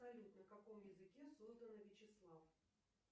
салют на каком языке создано вячеслав